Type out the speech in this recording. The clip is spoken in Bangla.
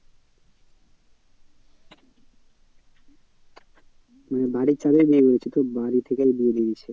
মানে বাড়ির চাপেই বিয়ে হয়েছে তো বাড়ি থেকেই বিয়ে দিয়ে দিয়েছে।